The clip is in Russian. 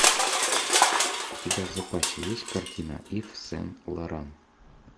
у тебя в запасе есть картина ив сен лоран